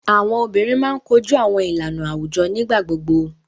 Awọn obinrin máa ń koju awọn ilana awujọ nigbagbogbo.